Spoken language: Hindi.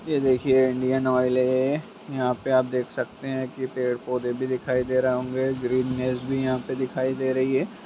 यह देखए इंडियन ऑइल है यहाँ पे आप देख सकते है की पेड़ पोधे भि दिखाई दे रहे होंगे ग्रीनेस भि यहाँ पे दिखाई दे रही है।